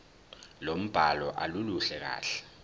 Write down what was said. lombhalo aluluhle kahle